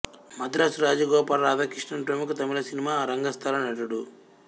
మద్రాసు రాజగోపాల రాధాకృష్ణన్ ప్రముఖ తమిళ సినిమా రంగస్థల నటుడు